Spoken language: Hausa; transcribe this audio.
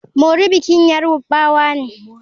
Mori bikin yarbawa ne.